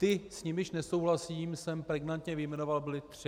Ty, s nimiž nesouhlasím, jsem pregnantně vyjmenoval - byly tři.